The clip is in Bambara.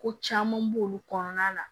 Ko caman b'olu kɔnɔna na